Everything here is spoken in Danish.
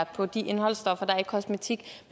på de indholdsstoffer der er i kosmetik